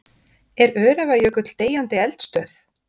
Er Öræfajökull deyjandi eldstöð?